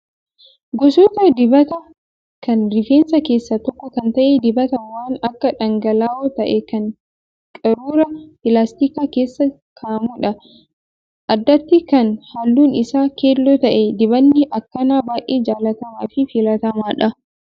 Gosoota dibataa kan rifeensaa keessaa tokko kan ta'e dibata waan akka dhangala'oo ta'ee kan qaruuraa pilaastikaa keessa kaa'amudha. Addatti kan halluun isaa keelloo ta'e dibanni akkanaa baay'ee jaallatamaa fi filatamaadha.